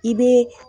I bɛ